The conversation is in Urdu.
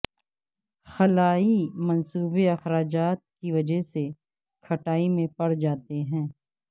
خلائی منصوبے اخراجات کی وجہ سے کھٹائی میں پڑ جاتے ہیں